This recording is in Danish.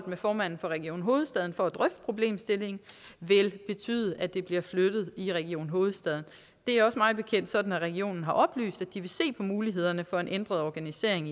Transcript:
med formanden for region hovedstaden for at drøfte problemstillingen vil betyde at det bliver flyttet i region hovedstaden det er også mig bekendt sådan at regionen har oplyst at de vil se på mulighederne for en ændret organisering